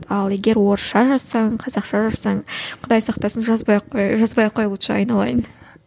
ал егер орысша жазсаң қазақша жазсаң құдай сақтасын жазбай ақ қой жазбай ақ қой лучше айналайын